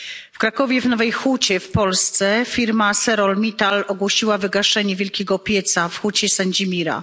W Krakowie w Nowej Hucie w Polsce firma ArcelorMittal ogłosiła wygaszenie wielkiego pieca w Hucie Sendzimira.